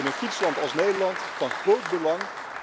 In een fietsland als Nederland is dit van groot belang.